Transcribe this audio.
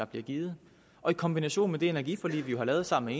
bliver givet og i kombination med det energiforlig vi jo har lavet sammen